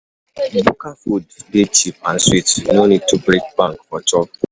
Bukka food dey cheap and sweet; no need to break bank for chop.